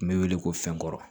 N bɛ wele ko fɛnkɔrɔ